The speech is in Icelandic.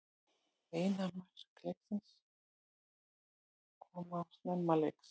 Eina mark leiksins koma snemma leiks